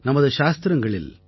நமது சாஸ்திரங்களில்